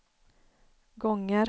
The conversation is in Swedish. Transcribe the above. gånger